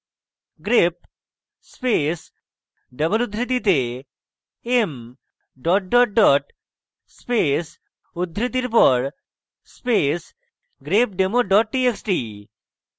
grep space double উদ্ধৃতিতে m double double double space উদ্ধৃতির পর space grepdemo double txt